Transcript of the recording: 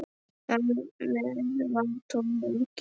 Þar með var tónninn gefinn.